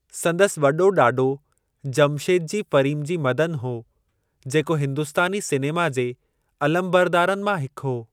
संदसि वॾो ॾाॾो जमशेदजी फ़रीमजी मदन हो जेको हिंदुस्तानी सिनेमा जे अलमबरदारनि मां हिक हो।